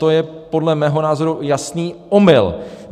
To je podle mého názoru jasný omyl!